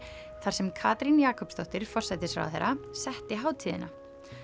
þar sem Katrín Jakobsdóttir forsætisráðherra setti hátíðina